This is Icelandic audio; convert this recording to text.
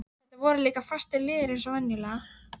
Þetta voru líka fastir liðir eins og venjulega.